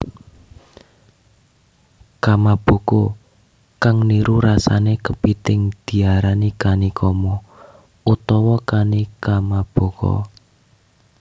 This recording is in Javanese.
Kamaboko kang niru rasane kepithing diarani kanikama utawa kanikamaboko